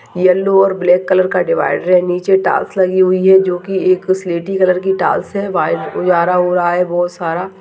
Yellow और black colour का divider है नीचे टाइल्स लगी हुई हैं जो कि एक स्लेटी कलर की टाइल्स हैं व्हाइट उजाला हो रहा है बहौत सारा।